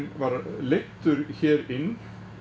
var leiddur hér inn